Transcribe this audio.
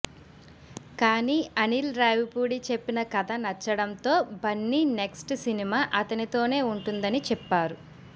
కానీ అనిల్ రావిపూడి చెప్పిన కథ నచ్చడంతో బన్నీ నెక్స్ట్ సినిమా అతనితోనే ఉంటుందని చెప్పారు